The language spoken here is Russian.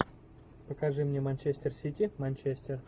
покажи мне манчестер сити манчестер